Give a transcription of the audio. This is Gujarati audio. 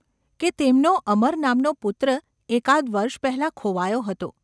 કે તેમનો અમર નામનો પુત્ર એકાદ વર્ષ પહેલાં ખોવાયો હતો.